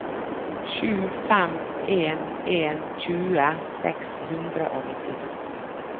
sju fem en en tjue seks hundre og nittito